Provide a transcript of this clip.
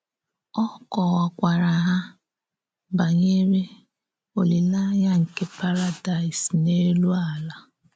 Ọ kọ́wàkwàárà hà bànyèrè òlílèànyà nke Paradaịs n’élù àlà.